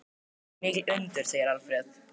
Þetta þóttu mikil undur, segir Alfreð.